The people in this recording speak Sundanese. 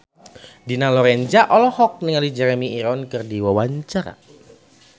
Dina Lorenza olohok ningali Jeremy Irons keur diwawancara